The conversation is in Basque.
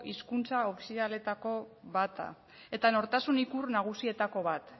hizkuntza ofizialetako bat da eta nortasun ikur nagusietako bat